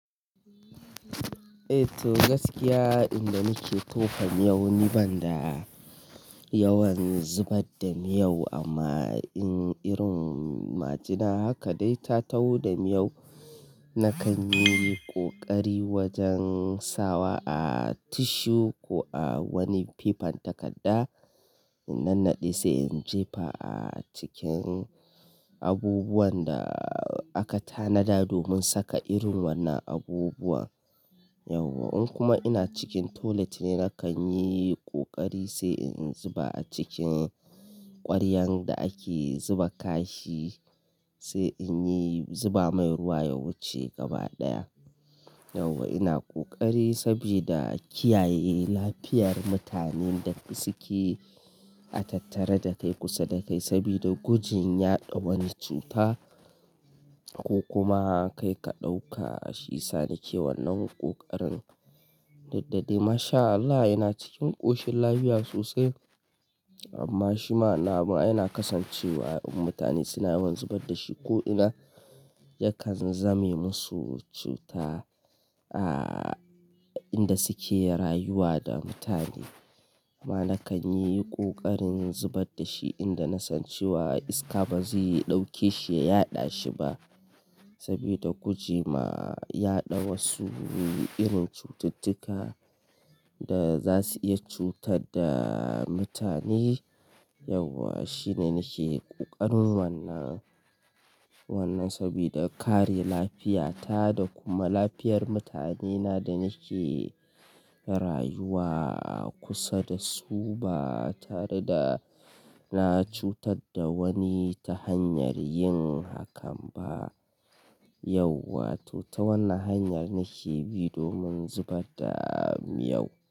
Eh to gaskiya, inda nake tofan miyau ni banda yawan zubar da miyau amma in irin majina haka dai ta taho da miyau, na kan yi ƙoƙari wajen sawa a tishu ko a wani fifan takadda in nannaɗe sai in jefa a cikin abubuwan da aka tanada domin saka irin wannan abubuwan. Yauwa in kuma ina cikin toilet ne, na kan yi kokari sai in zuba a cikin ƙwaryan da ake zuba kashi, sai in yi zuba mai ruwa ya wuce gaba ɗaya. Yauwa ina ƙoƙari sabida kiyaye lafiyar mutanen da suke a tattare da kai kusa da kai sabida gujin ya ɗau wani cuta ko kuma kai ka ɗauka shi sani ke wannan ƙoƙarin. Duk da dai masha Allah ina cikin ƙoshin lafiya sosai amma shima na yana kasancewa in mutane suna yawan zubar da shi ko ina yakan zame musu cuta a inda suke rayuwa da mutane. Amma na kan yi ƙoƙarin zubar da shi inda na san cewa iska ba zai ɗauke shi ya yaɗa shi ba saboda guje ma ya ɗau wasu irin cututtuka da za su iya cutar da mutane. Yauwa shine nake ƙoƙarin wannan, wannan sabida kare lafiyata da kuma lafiyar mutanena da nake rayuwa kusa da su ba tare da na cutar da wani ta hanyar yin hakan ba. Yauwa to ta wannan hanyar nake bi domin zubar da miyau.